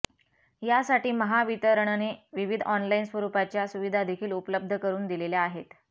यासाठी महावितरणने विविध ऑनलाइन स्वरूपाच्या सुविधादेखील उपलब्ध करून दिलेल्या आहेत